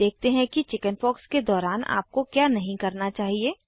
अब देखते हैं कि चिकिन्पॉक्स के दौरान आपको क्या नहीं करना चाहिए